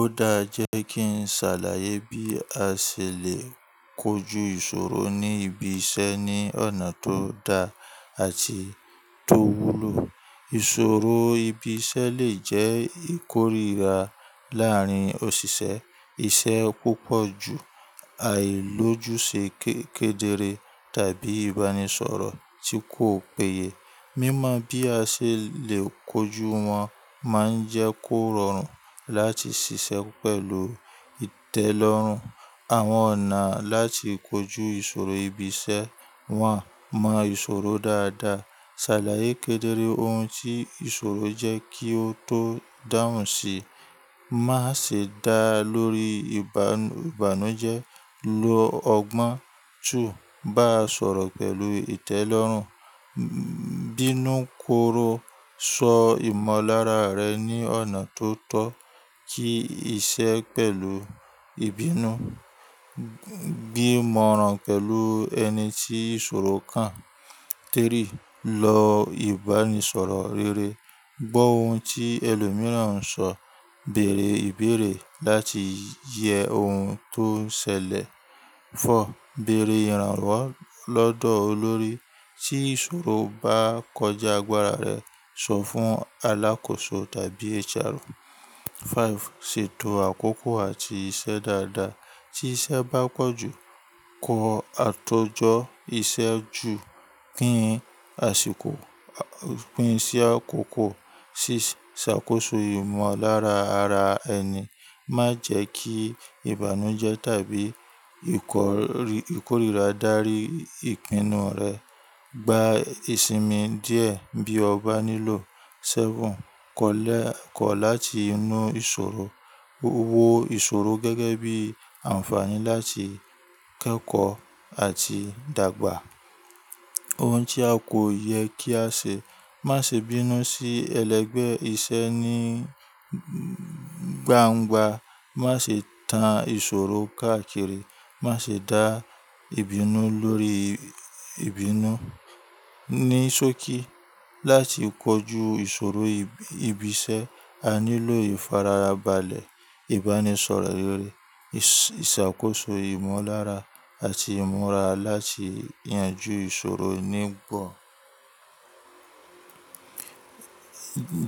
Ó dáa e jẹ́ kí n ṣàlàyé bí a ṣe lè kojú ìṣòro ní ibi iṣẹ́ ní ọ̀nà tó da àti tó wúlò. Ìṣòro ibi iṣẹ́ lè jẹ́ ìkórìíra láárín òṣìṣẹ́, iṣẹ́ púpọ̀ ju àìlójú ṣe ké-- kẹ́dẹ́re tàbí ìbánisọ̀rọ̀ tí kò péye. Mímọ bí a ṣe lè kojú wọn máa ń jẹ́ kó rọrùn láti ṣiṣẹ́ pẹ̀lú ìtẹ́lọ́rùn. Àwọn ọ̀nà láti kojú ìṣòro ibi iṣẹ́. One: máa ìṣòro dáadáa. Ṣàlàyé kẹ́dẹ́re ohun tí ìṣòro jẹ́ kí o tó dáhùn sí, má ṣe dá lórí ìbànújẹ́. Ló ọgbọ́n. Two: bá sọ̀rọ̀ pẹ̀lú ìtẹ́lọ́rùn, bínú korò, sọ ìmọ̀lára rẹ ní ọ̀nà tó tọ́, kí iṣẹ́ pẹ̀lú ìbínú. Gbi imọ̀ran pẹ̀lú ẹni tí ìṣòro kan. Three: lọ ìbánisọ̀rọ̀ rere, gbọ́ ohun tí ẹlòmíràn ń sọ, bèèrè ìbéèrè láti yẹ ohun tó ń ṣẹlẹ̀. Four: bèèrè ìrànwọ́ lọ́dọ̀ olórí tí ìṣòro bá kọjá agbára rẹ, sọ fún alákòóso tàbí HR. Five, ṣètò àkókò àti iṣẹ́ dáadáa. Tí iṣẹ́ bá pọ̀ jù, kọ àtọjọ́ iṣẹ́ jù, pín àsìkò, pín sí àkókò. Six, ṣàkóso ìmọ̀lára ara ẹni. Má jẹ́ kí ìbànújẹ́ tàbí ìkórìíra dárí ìpinnu rẹ. Gba ìsinmi díẹ̀ bí o bá nílò. Seven: kọ́lẹ̀ kọ̀ láti inú ìṣòro. Wo ìṣòro gẹ́gẹ́ bí àǹfààní láti kẹ́kọ̀ọ́ àti dàgbà. Ohun tí a kò yẹ kí á ṣe, má ṣe bínú sí ẹlẹgbẹ́ iṣẹ́ ní gbangba. Má ṣe tan ìṣòro káàkiri. Má ṣe dá ìbínú lórí ìbínú. Ní sókí, láti kojú ìṣòro ibi iṣẹ́, a nílò ìfarabalẹ̀, ìbánisọ̀rọ̀ rere, ìṣàkóso ìmọ̀lára àti ìmúra láti yanjú ìṣòro nígbọ̀.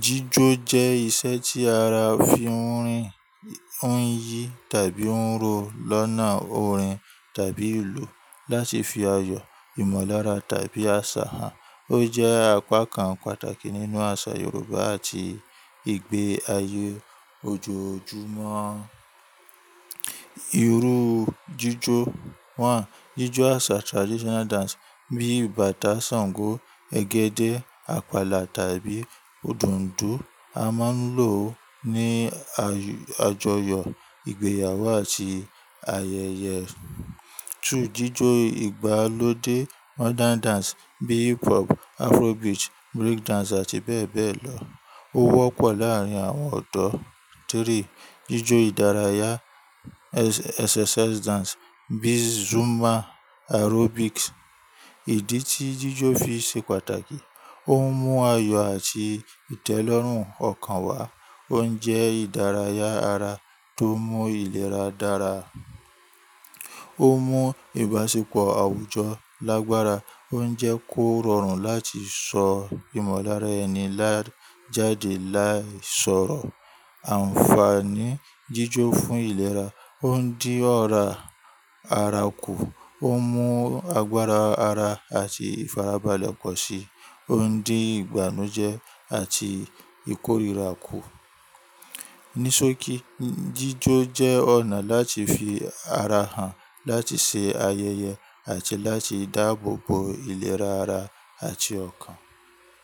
Jíjó jẹ́ ìṣe tí ara fi ń rín, ń yí tàbí ń ro lọ́nà orin tàbí ìlù láti fi ayọ̀, ìmọ̀lára tàbí àṣà hàn. Ó jẹ́ apá kan pàtàkì nínú àṣà Yoruba àti ìgbé ayé ojoojúmọ́. Irú jíjó. One, jíjó àṣà traditional dance bíi bàtá, ṣàngó, ẹgẹ́dẹ́, àpàlà tàbí òdùndún a máa ń lò ó ní àjọyọ̀, ìgbéyàwó àti ayẹyẹ. Two, jíjó ìgbàlódé modern dance bíi hip-hop, Afrobeat, breakdance àti bẹ́ẹ̀ bẹ́ẹ̀ lọ. Ó wọ́pọ̀ láàárín àwọn ọ̀dọ́. Three, jíjó ìdárayá exercise dance bíi Zumba, aerobics. Ìdí tí jíjó fi ṣe pàtàkì, ó ń mú ayọ̀ àti ìtẹ́lọ́rùn ọkàn wá. Ó ń jẹ́ ìdárayá ara tó mú ìlera dára. Ó mú ìbáṣepọ̀ àwùjọ lágbára. Ó ń jẹ́ kó rọrùn láti sọ ìmọ̀lára ẹni lá jáde láìsọ̀rọ̀. Àǹfààní jíjó fún ìlera, ó ń dín ọ̀rá ara kù, ó ń mú agbára ara àti ìfarabalẹ̀ pọ̀ sí i, ó ń dín ìbànújẹ́ àti ìkórìíra kù. Ní sókí, jíjó jẹ́ ọ̀nà láti fi ara hàn, láti ṣe ayẹyẹ àti láti dáàbòbo ìlera ara àti ọkàn.